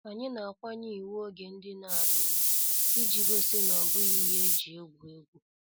Anyị na-akwanye iwu oge ndine ala ugwu, iji gosi na obughi ihe eji egwu egwu.